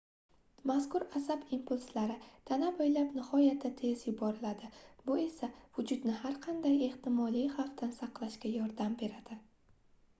mazkur asab impulslari tana boʻylab nihoyatda tez yuboriladi bu esa vujudni har qanday ehtimoliy xvafdan saqlashga yordam beradi